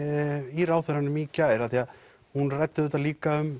í ráðherranum í gær hún ræddi líka um